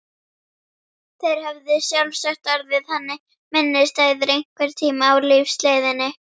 Þeir höfðu sjálfsagt orðið henni minnisstæðir einhvern tíma á lífsleiðinni.